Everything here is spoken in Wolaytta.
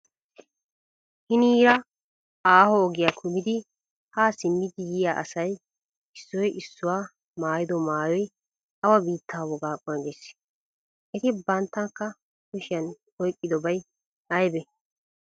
Hiniira aaho ogiya kumidi haa simmidi yiya asay issoy issoy maayido maayoy awa biittaa wogaa qonccissii? Et bantta kushiyan oyqqidobay aybee?